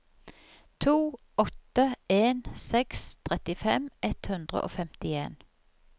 to åtte en seks trettifem ett hundre og femtien